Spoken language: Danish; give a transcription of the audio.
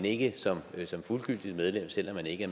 ikke som som fuldgyldigt medlem selv om man ikke